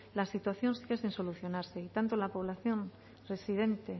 la situación sigue sin solucionarse y tanto la población residente